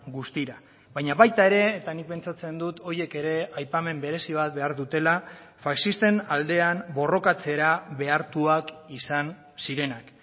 guztira baina baita ere eta nik pentsatzen dut horiek ere aipamen berezi bat behar dutela faxisten aldean borrokatzera behartuak izan zirenak